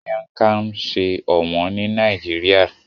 Miang Kham sọ òwòn ni Nàìjíríà